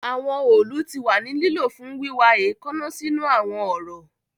Awọn òòlù ti wa ni lilo fun wiwa eekanna sinu awọn ọrọ